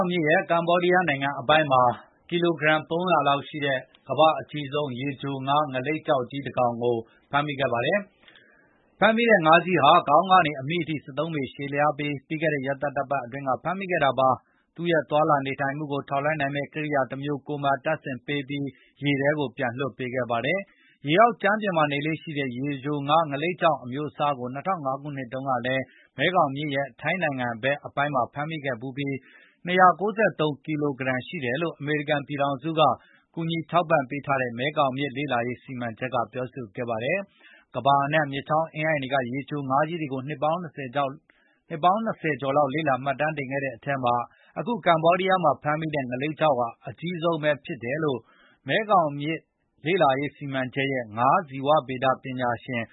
င်မြစ်ရဲ့ ကမ္ဘောဒီးယားနိုင်ငံ အပိုင်းမှာ ကီလိုဂရမ် ၃၀၀ ရှိတဲ့ ကမ္ဘာ့အကြီးဆုံး ရေချို ငါးလိပ်ကျောက် ငါးကြီးတကောင်ကို ဖမ်းမိခဲ့ပါတယ်။ ဖမ်းမိတဲ့ငါးကြီးဟာ ခေါင်းကနေ အမြီးထိ ၁၃ ပေရှည်လျားပြီး ပြီးခဲ့တဲ့ရက်သတ္တပတ်အတွင်းကဖမ်းမိခဲ့တာပါ။ သူ့ရဲ့သွားလာနေထိုင်မှုကို ထောက်လှမ်းနိုင်မယ့်ကိရိယာ တမျိုး ကိုယ်မှာတပ်ဆင်ပေးပြီး ရေထဲကိုပြန်လွှတ်ပေးခဲ့ပါတယ်။ ရေအောက်ကြမ်းပြင်မှာနေလေ့ရှိတဲ့ ရေချိုငါးလိပ်ကျောက် အမျိုးအစားကို ၂၀၀၅ ခုနှစ် တုန်းက မဲခေါင်မြစ်ရဲ့ ထိုင်းနိုင်ငံ ပိုင်နက်ထဲမှာ ဖမ်းမိခဲ့ဖူးပြီး ၂၉၃ ကီလိုဂရမ်ရှိတယ်လို့ အမေရိကန်ပြည်ထောင်စုက ကူညီထောက်ပံ့ထားတဲ့ မဲခေါင်လေ့လာရေးစီမံချက်က ပြောပါတယ်။ ကမ္ဘာအန့ှံက မြစ်ချောင်းအင်းအိုင်တွေ ရေချိုငါးကြီးတွေကိုနှစ်ပေါင်း ၂၀ ကျော် လေ့လာ မှတ်တမ်းတင်ခဲ့တဲ့ အထဲမှာ အခု ကမ္ဘောဒီးယားမှာ ဖမ်းမိတဲ့ ငါးလိပ်ကျောက်ဟာ အကြီးဆုံးဖြစ်တယ်လို့ မဲခေါင်လေ့လာရေးစီမံချက်ရဲ့ ငါးဇီဝဗေဒပညာရှင်